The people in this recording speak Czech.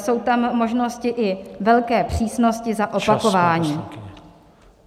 Jsou tam možnosti i velké přísnosti za opakování.